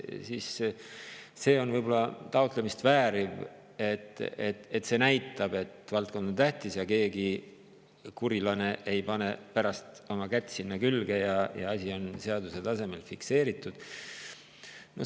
Siis see võib-olla näitab, et valdkond on tähtis, ja keegi kurilane ei pane pärast oma kätt sinna külge, kui asi on seaduse tasemel fikseeritud.